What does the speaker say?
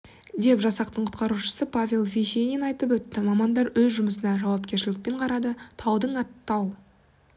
деп жасақтың құтқарушысы павел вишенин айтып өтті мамандар өз жұмысына жауапкершілікпен қарады таудың аты тау